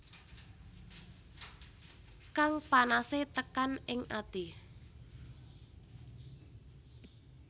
Kang panase tekan ing ati